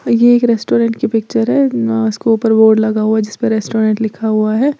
और ये एक रेस्टोरेंट की पिक्चर है अ इसके ऊपर बोर्ड लगा हुआ है जिस पे रेस्टोरेंट लिखा हुआ है।